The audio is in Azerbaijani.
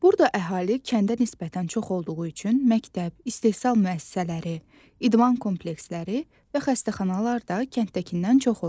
Burada əhali kəndə nisbətən çox olduğu üçün məktəb, istehsal müəssisələri, idman kompleksləri və xəstəxanalar da kənddəkindən çox olur.